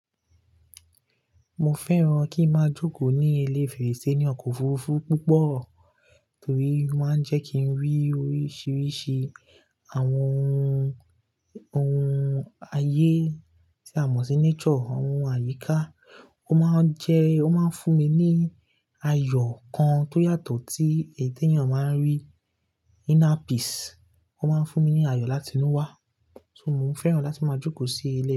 Mo fẹ́ràn kí n máa jókòó ní ilé fèrèsé ní ọkọ̀ òfurufú púpọ̀ torí wọ́n máa ń jẹ́ kí n rí oríṣiríṣi àwọn oun ayé tí a mọ̀ sí nature, oun àyíká. Ó máa ń jẹ́, ó máa ń fún mi ní ayọ̀ kan tó yàtọ̀ tí ènìyàn máa ń rí inner peace. Ó máa ń fún mi ní ayọ̀ láti inú wa. So mo fẹ́ràn láti máa jókòó sí ilé.